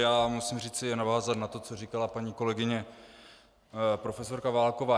Já musím říci a navázat na to, co říkala paní kolegyně profesorka Válková.